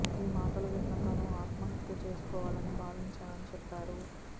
ఈ మాటలు విన్న తాను ఆత్మహత్య చేసుకోవాలని భావించానని చెప్పారు